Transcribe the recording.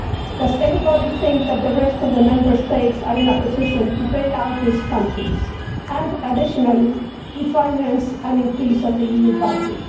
Does anybody think that the rest of the Member States are in a position to bail out these countries and, additionally, to finance an increase in the EU budget?